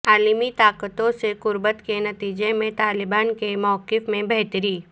عالمی طاقتوں سے قربت کے نتیجہ میں طالبان کے موقف میں بہتری